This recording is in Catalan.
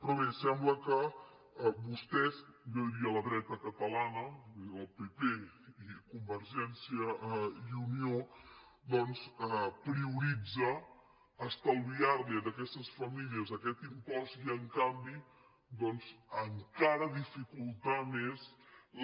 però bé sembla que vostès jo diria la dreta catalana la del pp i convergència i unió doncs prioritzen estalviar los a aquestes famílies aquest impost i en canvi encara dificultar més